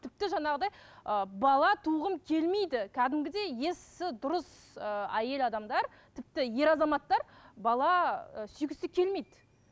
тіпті жаңағыдай ы бала туғым келмейді кәдімгідей есі дұрыс ыыы әйел адамдар тіпті ер азаматтар бала ы сүйгісі келмейді